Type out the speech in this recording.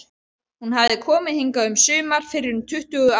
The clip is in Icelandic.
Hún hafði komið hingað um sumar fyrir tuttugu árum.